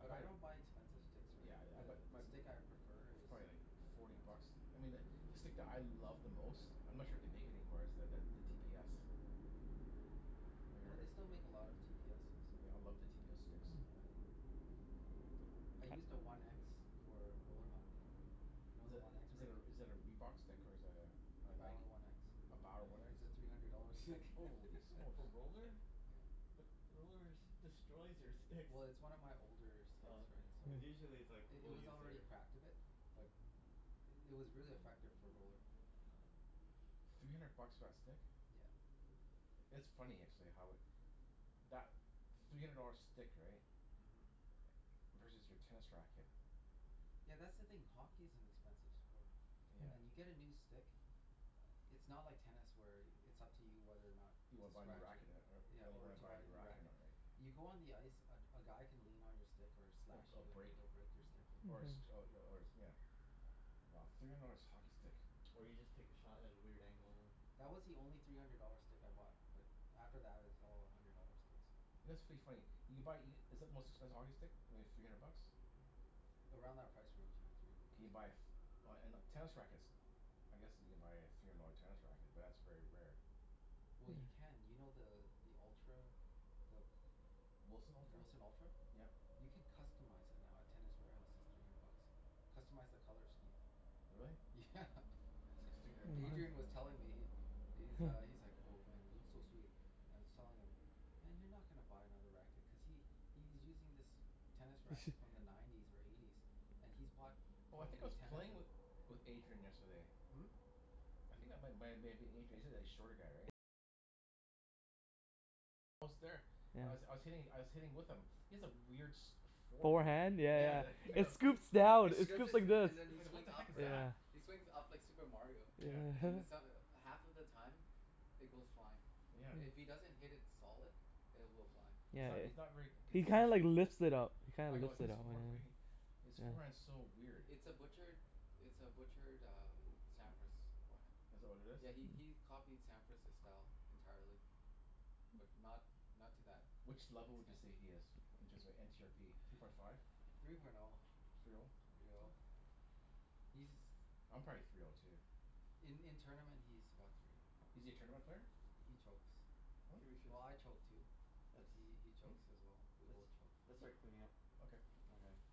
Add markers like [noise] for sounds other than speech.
I buy I don't buy expensive sticks, right? Yeah, I I buy The the m- th- stick I b- prefer it's is probably like one of the older forty ones. bucks. I mean the the stick [noise] that I love the most I'm not sure if they make it anymore is the the t p s. Have you ever Oh, hear- they still make a lot of t p s's. Yeah, I love the t p s sticks. Yeah, I I used a one x for a roller hockey. You know Is the that one x, is Rick? that a is that a Reebok stick, or is that a a The Nike? Bower one x? A Bower What? one x? It's a three hundred dollar stick. [laughs] Holy smokes. For roller? Yeah. But the rollers destroys your sticks. Well, it's one of my older s- sticks Oh, right, okay. so Cuz Yeah. usually it's like I- it people was use already their cracked a bit. But it was really effective for a roller. Oh. Three hundred bucks for that stick? Yeah. It's funny actually how it that three hundred dollar stick, right? Mhm. Versus your tennis racket. Yeah, that's the thing. Hockey is an expensive sport. And Yeah. you get a new stick it's not like tennis where it's up to you whether or not You to wanna buy a new scratch it. racket and er- Yeah, when you or wanna to buy buy a a new new racket or racket. not, right? You go on the ice, a g- a guy can lean on your stick or Yeah, slash a b- you and break it'll break your Oh, stick. is it? or a six Yeah. oh Mhm. y- or it's nyeah. Wow. Three hundred dollars hockey stick. [noise] Or you just take a shot at a weird angle. That was the only three hundred dollar stick I bought. But after that it was all a hundred dollar sticks. You know, it's pretty funny you can buy e- Is it the most expensive hockey stick? Maybe three hundred bucks? Around that price range, yeah. Three hundred Can bucks. you buy a f- Oh, and uh, tennis rackets. I guess you can buy a three hundred dollar tennis racket, but that's very rare. Well, Yeah. you can. You know the the Ultra the W- Wilson the Ultra? Wilson Ultra? Yep. You can customize it now at Tennis Warehouse. It's three hundred bucks. Customize the color scheme. Really? Yeah. If you're gonna Adrian was buy [noise] telling me, he he's uh, he's like, [laughs] "Oh man, it looks so sweet." And I was telling him, "Man, you're not gonna buy another racket." Cuz he he's using this tennis He racket sh- from the nineties or eighties. And he's bought Oh, I think I probably was ten of playing them. with with Adrian yesterday. Hmm? You c- And I was I Yeah. was hitting I was hitting with him. He has a weird sh- forehand. Forehand? Yeah yeah Yeah, Yeah, the yeah. he I It go he he scoops down. It he It does scoops scoops this, like this. and then he I go, "What swings the up, heck is right? that?" Yeah. He [laughs] swings up like Super Mario. Yeah. And then [laughs] so- half of the time it goes flying. Yeah. If he Yeah. doesn't hit it solid, it will fly. He's Yeah, not, it he's not very It's He not consistent. kinda like [inaudible] lifts it up. He I kinda go a lifts it his up, for- yeah. fee His forehand's Yeah. so weird. It's a butchered it's a butchered um Sampras forehand. Is that what it is? Yeah, he he he copied Sampras's style entirely. But not not to that Which level would you extent. say he is? Inches are n c r p Three point five? Three point oh. Three oh? Three oh. He's [noise] I'm probably three oh too. In in tournament he's about three oh. Is he a tournament player? He chokes. Hmm? Think we should Well, I choke too. But Let's he he Hmm? chokes as well. We both let's cho-